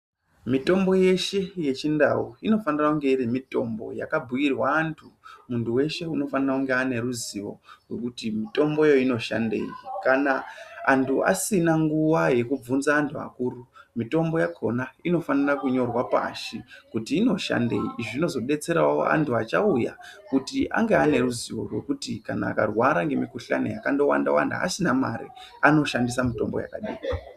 Mitombo yeshe yechindau inofanira kunge iri mitombo yakabhuirwa antu. Muntu weshe anofanira kunge ane ruzivo rwekuti mitomboyo inoshandei. Kana antu asina nguva yekuvhunza anhu akuru, mitombo yakona inofanira kunyorwa pashi kuti inoshandei. Izvi zvinozodetserawo antu achauya kuti ange neruzivo rwekuti kana akarwara asina mare anoshandisa mutombo yakadini.